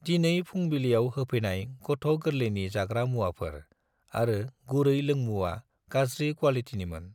दिनै फुंबिलियाव होफैनाय गथ' गोरलैनि जाग्रा मुवाफोर आरो गुरै लोंमुंआ गाज्रि क्वालिटिनिमोन।